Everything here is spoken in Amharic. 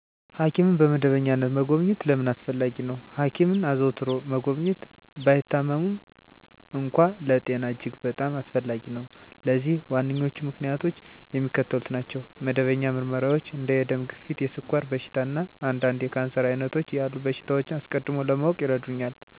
ሐኪምን በመደበኛነት መጎብኘት ለምን አስፈለጊ ነው? ሐኪምን አዘውትሮ መጎብኘት፣ ባይታመሙም እንኳ፣ ለጤና እጅግ በጣም አስፈላጊ ነው። ለዚህም ዋነኞቹ ምክንያቶች የሚከተሉት ናቸው። መደበኛ ምርመራዎች እንደ የደም ግፊት፣ የስኳር በሽታ፣ እና አንዳንድ የካንሰር ዓይነቶች ያሉ በሽታዎችን አስቀድሞ ለማወቅ ይረዱኛል። የትኞቹ ክትባቶች እንደሚያስፈልጉኝ እና መቼ መውሰድ እንዳለብኝ ያሳውቁኛል። *የጤና እንክብካቤ ከማግኘትዎ በፊት ጤናማ ሁነው ለመቆየት ምን ማድረግ ይችላሉ?*የአካል ብቃት እንቅስቃሴ ማድረግ * ጤናማ እና ሚዛናዊ አመጋገብ ማድረግ: * በቂ እንቅልፍ መተኛት * ጭንቀትን ማስወገድ * ሲጋራ ማጨስን እና አልኮል መጠጣትን ማስወገድ: